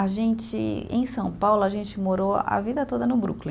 A gente, em São Paulo, a gente morou a vida toda no Brooklyn.